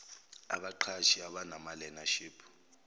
abaqashi abanama learnership